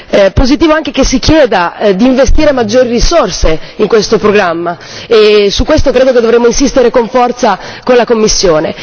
È positivo anche che si chieda di investire maggiori risorse in questo programma e su questo credo che dovremmo insistere con forza con la Commissione.